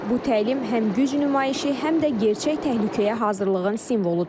Bu təlim həm güc nümayişi, həm də gerçək təhlükəyə hazırlığın simvoludur.